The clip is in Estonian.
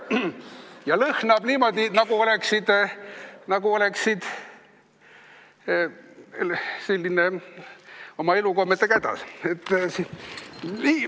Ja lõhnab niimoodi, nagu oleksid oma elukommetega hädas.